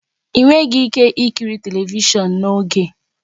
Ị nweghị ike ikiri telivishọn n'oge a